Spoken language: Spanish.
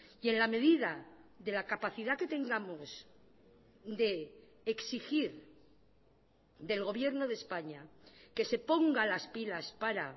y en la medida de la capacidad que tengamos de exigir del gobierno de españa que se ponga las pilas para